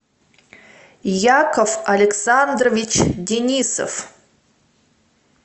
яков александрович денисов